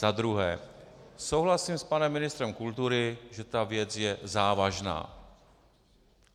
Za druhé, souhlasím s panem ministrem kultury, že ta věc je závažná.